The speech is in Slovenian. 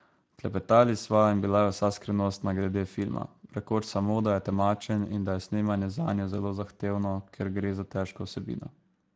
Klepetali sva in bila je vsa skrivnostna glede filma, rekoč samo, da je temačen in da je snemanje zanjo zelo zahtevno, ker gre za težko vsebino ...